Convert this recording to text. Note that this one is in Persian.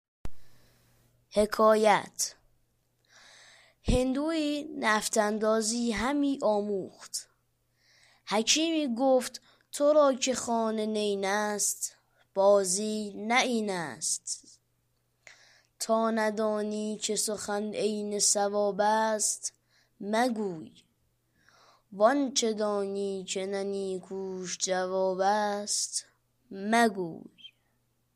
هندویی نفط اندازی همی آموخت حکیمی گفت تو را که خانه نیین است بازی نه این است تا ندانی که سخن عین صواب است مگوی وآنچه دانی که نه نیکوش جواب است مگوی